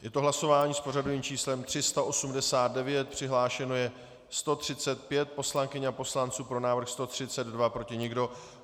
Je to hlasování s pořadovým číslem 389, přihlášeno je 135 poslankyň a poslanců, pro návrh 132, proti nikdo.